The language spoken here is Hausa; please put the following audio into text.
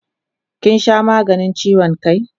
Kin sha maganin chiwon kai?